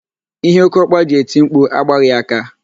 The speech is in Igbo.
Ihe okeokpa ji eti mkpu a agbaghị aka.